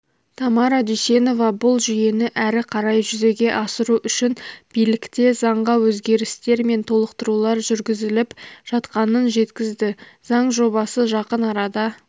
тамара дүйсенова бұл жүйені әрі қарай жүзеге асыру үшін билікте заңға өзгерістер мен толықтырулар жүргізіліп жатқанын жеткізді заң жобасы жақын арада